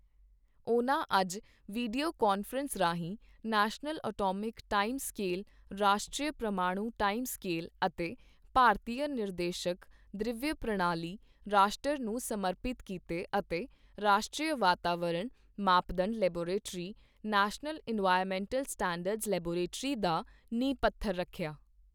ਉਨ੍ਹਾਂ ਅੱਜ video conference ਰਾਹੀਂ ਨੈਸ਼ਨਲ ਐਟੌਮਿਕ ਟਾਈਮ ਸਕੇਲ ਰਾਸ਼ਟਰੀ ਪ੍ਰਮਾਣੂ ਟਾਈਮ ਸਕੇਲ ਅਤੇ ਭਾਰਤੀਯ ਨਿਰਦੇਸ਼ਕ ਦ੍ਰੱਵਯ ਪ੍ਰਣਾਲੀ ਰਾਸ਼ਟਰ ਨੂੰ ਸਮਰਪਿਤ ਕੀਤੇ ਅਤੇ ਰਾਸ਼ਟਰੀ ਵਾਤਾਵਰਣਕ ਮਾਪਦੰਡ laboratory national environmental standards laboratory ਦਾ ਨੀਂਹ ਪੱਥਰ ਰੱਖਿਆ।